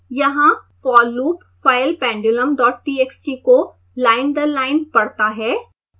यहाँ for loop file pendulumtxt को line दर लाइन पढ़ता है